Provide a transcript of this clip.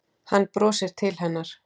Hann brosir til hennar.